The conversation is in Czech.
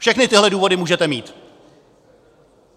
Všechny tyhle důvody můžete mít.